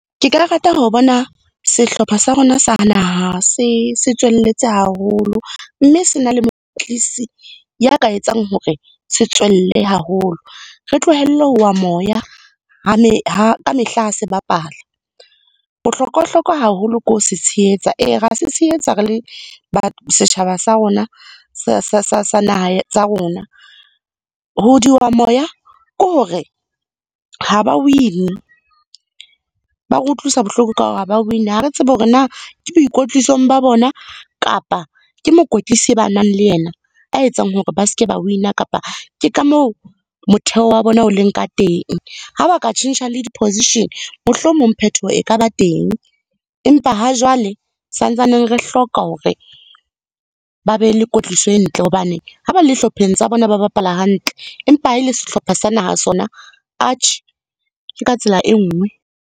Ke ka rata ho bona sehlopha sa rona sa naha se tswelletse haholo mme sena le mokwetlisi ya ka etsang hore se tswelle haholo. Re tlohelle ho wa moya ha, ka mehla ha se bapala. Bohlokwa-hlokwa haholo ke ho se tshehetsa. Ee, ra se tshehetsa re le setjhaba sa rona sa naha ya rona. Ho di wa moya ke hore ha ba wine, ba re utlwisa bohloko ka hore ha ba wine. Ha re tsebe hore na ke boikotlisong ba bona kapa ke mokwetlisi e ba nang le yena a etsang hore ba seke ba wina, kapa ke ka moo motheo wa bona o leng ka teng. Ha ba ka tjhentjha le di-position, mohlomong phetoho e ka ba teng. Empa ha jwale sa ntsane re hloka hore, ba be le kwetliso e ntle hobane ha ba le hlopheng tsa bona, ba bapala hantle empa ha e le sehlopha sa naha sona, Atjhe, ke ka tsela e nngwe.